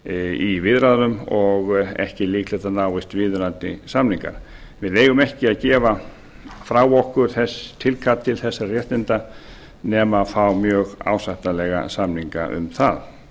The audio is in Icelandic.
í viðræðum og ekki líklegt að náist viðeigandi samningar við eigum ekki að gefa frá okkur tilkall til þessara réttinda nema fá mjög ásættanlega samninga um það